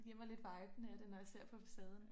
Giver mig lidt viben af det når jeg ser på facaden